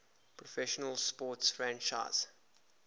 professional sports franchise